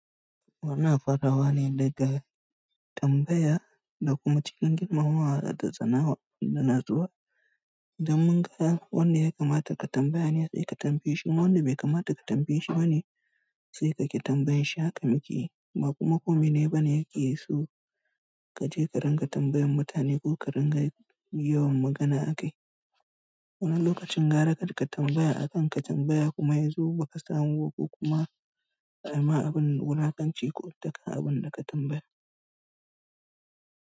Wannan farawa ne daga tambaya da kuma cikin girmamawa da tsanawa da natsuwa. Da mun ga wanda ya kamata ka tambaya ne sai ka tambaye shi, imma wanda bai kamata ka tambaye shi ba ne sai ka ƙi tambaye shi. Haka mukeyi, ba kuma kome ne ba yake so ka je ka ringa tambayan mutane ko ka ringa yawan magana akai. Wani lokacin gara karka tambaya akan ka tambaya kuma ya zo ba ka samu ko kuma a ma abin wulakanci ko tuƙa abin da ka tambaya.